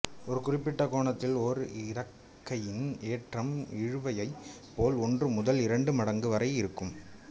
ஒரு குறிப்பிட்ட கோணத்தில் ஓர் இறக்கையின் ஏற்றம் இழுவையைப் போல் ஒன்று முதல் இரண்டு மடங்கு வரை இருக்கும்